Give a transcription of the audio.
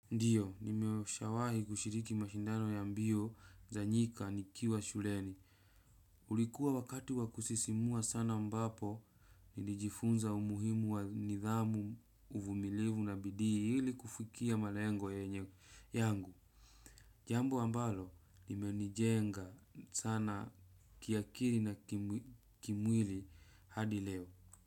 Ndio, nimeshawahi kushiriki mashindano ya mbio za nyika nikiwa shuleni. Ulikuwa wakati wakusisimua sana ambapo, nilijifunza umuhimu wa nidhamu, uvumilivu na bidii ili kufikia malengo yangu. Jambo ambalo, limenijenga sana kiakili na kimwili hadi leo.